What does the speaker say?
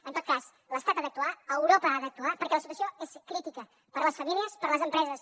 en tot cas l’estat ha d’actuar europa ha d’actuar perquè la situació és crítica per a les famílies per a les empreses